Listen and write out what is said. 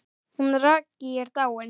Hún Raggý er dáin.